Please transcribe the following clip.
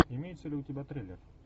имеется ли у тебя трейлер